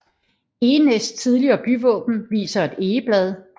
Egenæs tidligere byvåben viser et egeblad